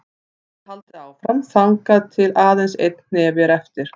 Svo er haldið áfram þangað til aðeins einn hnefi er eftir.